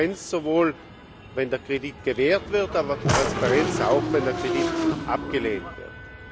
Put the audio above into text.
Transparenz sowohl, wenn der Kredit gewährt wird, aber Transparenz auch, wenn der Kredit abgelehnt wird.